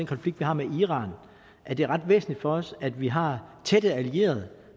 konflikt vi har med iran at det er ret væsentligt for os at vi har tætte allierede